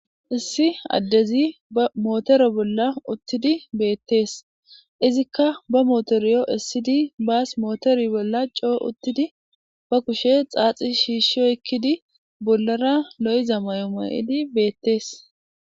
issi addezi ba mootore bolla uttidi beettees izikka ba mootoriyo issidi baas mootori bolla coo uttidi ba kushe xaaxi shiishshi oykkidi bollara lo7iza mayo ma7idi beettees.